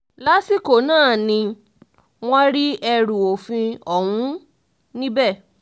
lásìkò náà ni wọ́n rí ẹrù òfin ọ̀hún níbẹ̀